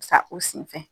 Sa u sen fɛ